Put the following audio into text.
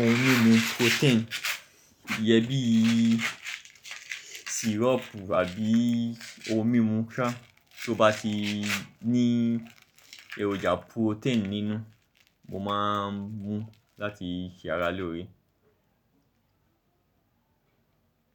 ohun mímu protein iyẹn siropu abí ohun mímu sá tó bá ti ní èròjà protein nínú, mo ma ń mú láti se ara lóore.